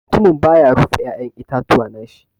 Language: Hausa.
Mutumin ba ya rufe ya'yan itatuwa na shi.